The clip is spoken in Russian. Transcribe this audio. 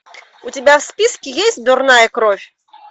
у тебя в списке есть дурная кровь